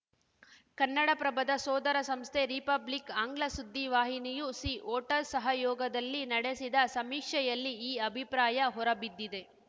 ಕನ್ನಡಪ್ರಭದ ಸೋದರ ಸಂಸ್ಥೆ ರಿಪಬ್ಲಿಕ್‌ ಆಂಗ್ಲ ಸುದ್ದಿವಾಹಿನಿಯು ಸಿ ವೋಟರ್‌ ಸಹಯೋಗದಲ್ಲಿ ನಡೆಸಿದ ಸಮೀಕ್ಷೆಯಲ್ಲಿ ಈ ಅಭಿಪ್ರಾಯ ಹೊರಬಿದ್ದಿದೆ